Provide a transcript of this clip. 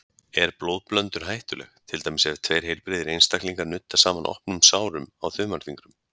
Er blóðblöndun hættuleg, til dæmis ef tveir heilbrigðir einstaklingar nudda saman opnum sárum á þumalfingrum?